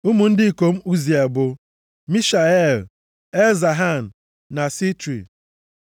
Ụmụ ndị ikom Uziel bụ, Mishael, Elzafan na Sitri.